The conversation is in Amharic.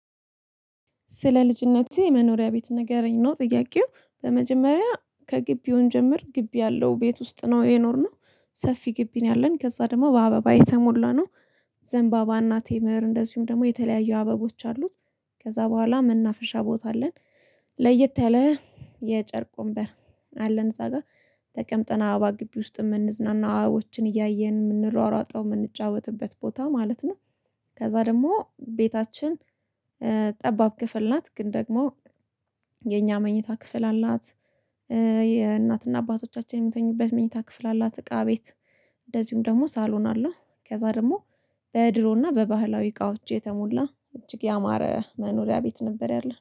ስለ ልጅነቴ የመኖሪያ ቤት ንገረኝ ነው? ጥያቄው በመጀመሪያ ከግቢው እንጀምር ግቢ ያለው ቤት ውስጥ ነው። የኖርነው ሰፊ ግቢ ነው። ያለን ከዚያ ደግሞ በአበባ የተሞላነው ዘንባባ እና ቴምር እንደዚሁም ደግሞ የተለያዩ አበቦች አሉት። ከዚያ በኋላ መናፍሻ ቦታ አለን። ለየት ያለ የጨርቅ ወንበር አለን እዚያ ጋር ተቀምጠን አባባ ግቢ ውስጥ የምንዝናና አበቦችን እያየን የምንሯሯጠው የምንጫወትበት ቦታ ማለት ነው። ከዚያ ደግሞ ቤታችን ጠባብ ክፍል ናት ግን ደግሞ የኛ መኝታ ክፍል አላት። የእናትና አባቶቻችን የምተኙበት መኝታ ክፍል አላት እቃ ቤት እንደዚሁም ደግሞ ሳሎን አለው። ከዚያ ደግሞ በድሮና በባህላዊ እቃዎች የተሞላ እጅግ ያማረ መኖሪያ ቤት ነበር ያለ